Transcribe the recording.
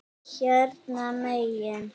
Hérna megin.